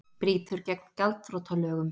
Brýtur gegn gjaldþrotalögum